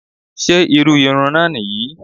Ṣé irú irun náà nìyí?